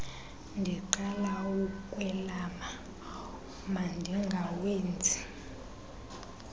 ndiqala ukukwelama mandingawenzi